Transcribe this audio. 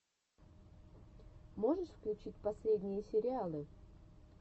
можешь включить последние сериалы